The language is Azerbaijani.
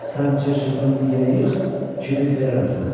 Sən çırçırpını bir yerə yığ, kibrit verərəm sənə.